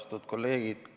Austatud kolleegid!